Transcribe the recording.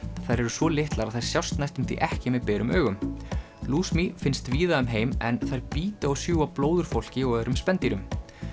þær eru svo litlar að þær sjást næstum því ekki með berum augum finnst víða um heim en þær bíta og sjúga blóð úr fólki og öðrum spendýrum